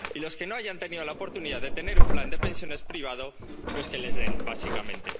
Y a los que no hayan tenido la oportunidad de tener un plan de pensiones privado, pues que les den, básicamente.